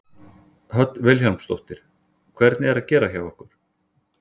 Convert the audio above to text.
Hödd Vilhjálmsdóttir: Hvernig er að gera hjá ykkur?